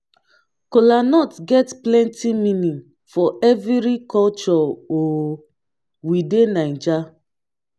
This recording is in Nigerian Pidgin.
kolanut get plenti meaning for evri koture um wey dey naija